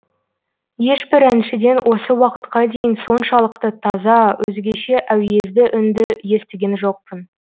ешбір әншіден осы уақытқа дейін соншалықты таза өзгеше әуезді үнді естіген жоқпын